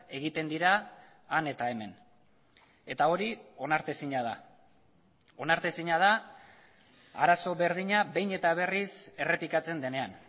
egiten dira han eta hemen eta hori onartezina da onartezina da arazo berdina behin eta berriz errepikatzen denean